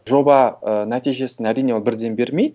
жоба ы нәтижесін әрине бірден бермейді